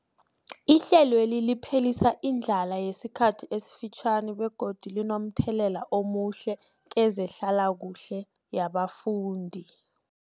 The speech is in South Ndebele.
Ihlelweli liphelisa indlala yesikhathi esifitjhani begodu linomthelela omuhle kezehlalakuhle yabafundi.